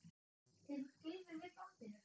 Tekur Gylfi við bandinu?